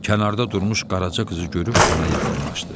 Kənarda durmuş Qaraca qızı görüb ona yaxınlaşdı.